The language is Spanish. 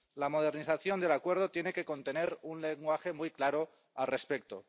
la modernización del Acuerdo tiene que contener un lenguaje muy claro al respecto.